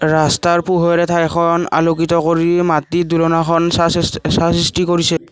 ৰাস্তাৰ পোহৰত উঠা এখন আলোকিত কৰি মাটিৰ দুলনাখন চাঁ সৃষ্ট চাঁ সৃষ্টি কৰিছে।